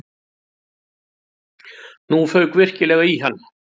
Nú fauk virkilega í hann.